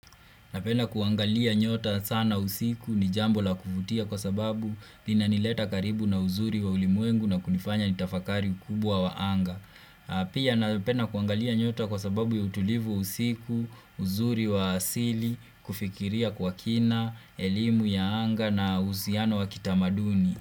Napenda kuangalia nyota sana usiku ni jambo la kuvutia kwa sababu inanileta karibu na uzuri wa ulimwengu na kunifanya nitafakari ukubwa wa anga. Pia napenda kuangalia nyota kwa sababu ya utulivu wa usiku, uzuri wa asili, kufikiria kwa kina, elimu ya anga na uhusiano wa kitamaduni.